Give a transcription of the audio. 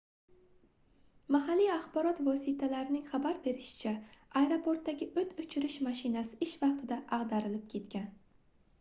mahalliy axborot vositalarining xabar berishicha aeroportdagi oʻt oʻchirish mashinasi ish vaqtida agʻdarilib ketgan